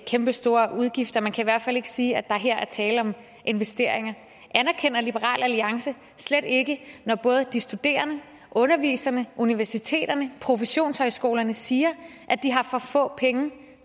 kæmpestore udgifter man kan i hvert fald ikke sige at der her er tale om investeringer anerkender liberal alliance slet ikke at både de studerende underviserne universiteterne professionshøjskolerne siger at de har for få penge